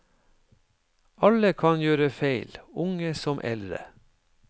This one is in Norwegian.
Alle kan gjøre feil, unge som eldre.